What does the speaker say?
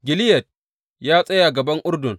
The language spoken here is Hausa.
Gileyad ya tsaya gaban Urdun.